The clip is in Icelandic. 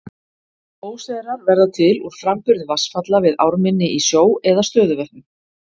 Óseyrar verða til úr framburði vatnsfalla við ármynni í sjó eða stöðuvötnum.